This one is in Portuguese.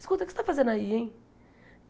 Escuta, o que você está fazendo aí, hein?